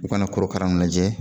U kana korokara n lajɛ